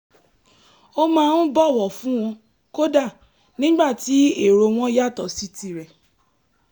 ó máa ń bọ̀wọ̀ fún wọn kódà nígbà tí èrò wọn yàtọ̀ sí tirẹ̀